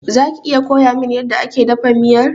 Zaka iya koyamin yanda ake dafa miyar?